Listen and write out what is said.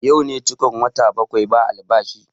Yau ne cikon wata bakwai ba albashi